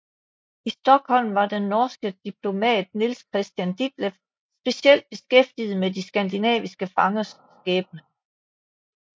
I Stockholm var den norske diplomat Niels Christian Ditleff specielt beskæftiget med de skandinaviske fangers skæbne